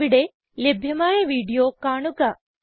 ഇവിടെ ലഭ്യമായ വീഡിയോ കാണുക